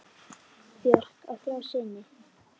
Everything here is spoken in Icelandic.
Björk á þrjá syni.